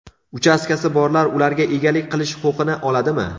Uchastkasi borlar ularga egalik qilish huquqini oladimi?